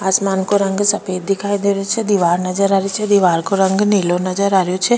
आसमान को रंग सफ़ेद दिखाई दे रो छे दीवार नजर आ री छे दीवार को रंग नीलो नजर आ रेहो छे।